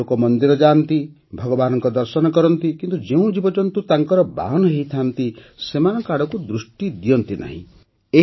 ବହୁ ଲୋକ ମନ୍ଦିର ଯାଆନ୍ତି ଭଗବାନଙ୍କ ଦର୍ଶନ କରନ୍ତି କିନ୍ତୁ ଯେଉଁ ଜୀବଜନ୍ତୁ ତାଙ୍କର ବାହନ ହୋଇଥାନ୍ତି ସେମାନଙ୍କ ଆଡ଼କୁ ସେତିକି ଦୃଷ୍ଟି ଦିଅନ୍ତି ନାହିଁ